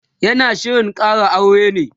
yana Shirin Kara aure ne?